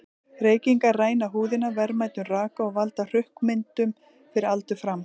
Reykingar ræna húðina verðmætum raka og valda hrukkumyndun fyrir aldur fram.